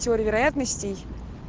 теория вероятностей